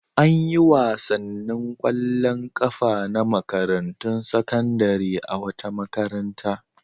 An yi wasannin ƙwallon ƙafa na makarantun sakandare a wata makaranta.